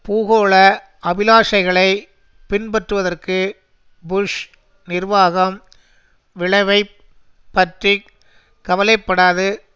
பூகோள அபிலாஷைகளை பின்பற்றுவதற்கு புஷ் நிர்வாகம் விளைவைப் பற்றி கவலைப்படாது